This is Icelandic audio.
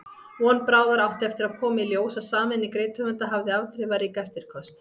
Von bráðar átti eftir að koma í ljós að sameining rithöfunda hafði afdrifarík eftirköst.